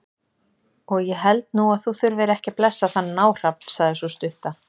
Og ég held nú að þú þurfir ekki að blessa þann náhrafn, sagði sú stutta.